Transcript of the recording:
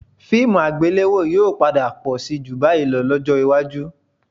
Fíìmù àgbéléwò yóò padà pọ̀ síi ju báyìí lọ lọ́jọ́ iwájú